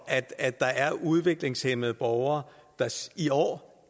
at der er udviklingshæmmede borgere der i år